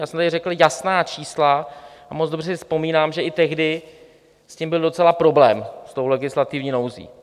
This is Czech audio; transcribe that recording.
Já jsem tady řekl jasná čísla a moc dobře si vzpomínám, že i tehdy s tím byl docela problém, s tou legislativní nouzí.